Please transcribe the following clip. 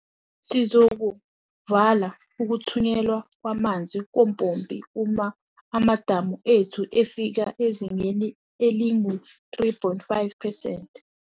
Sizokuvala ukuthunyelwa kwamanzi kompompi uma amadamu ethu efika ezingeni elingu-3.5 percent.